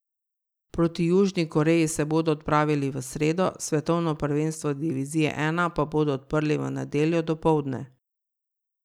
Proti Južni Koreji se bodo odpravili v sredo, svetovno prvenstvo divizije I pa bodo odprli v nedeljo dopoldne.